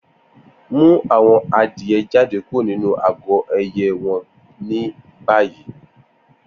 Mu awọn adie jade kuro ninu agọ ẹyẹ wọn ni bayi!